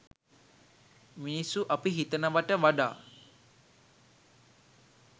මිනිස්සු අපි හිතනවට වඩා